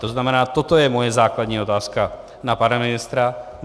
To znamená, toto je moje základní otázka na pana ministra.